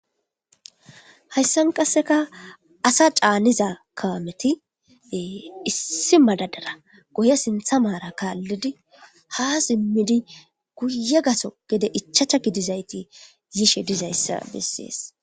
Hayssan qasseka asa caaniza kaamethi ee issi madadara goye sinththa maara kaallidi haa simmidi guye gaso gede ichacha gidizaythi yishe dizayssa bessees.